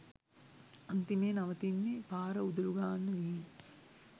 අන්තිමේ නවතින්නෙ පාර උදලු ගාන්න ගිහිනි.